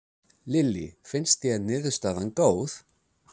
Lillý: Finnst þér niðurstaðan góð?